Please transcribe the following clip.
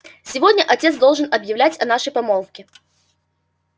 сегодня отец должен объявить о нашей помолвке